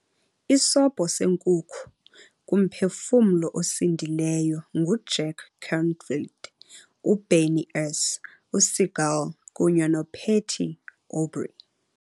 Isobho seNkukhu kuMphefumlo osindileyo nguJack Canfield, uBernie S. uSiegel, kunye noPatty Aubrey.